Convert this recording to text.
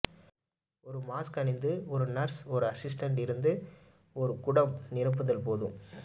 ஒரு மாஸ்க் அணிந்து ஒரு நர்ஸ் ஒரு ஹைட்ரன்ட் இருந்து ஒரு குடம் நிரப்புதல் போது